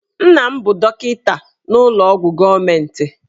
Nna m bụ dọkịta n'ụlọ ọgwụ ndị gọọmentị.